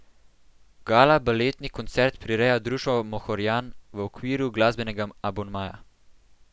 Gala baletni koncert prireja društvo Mohorjan v okviru glasbenega abonmaja.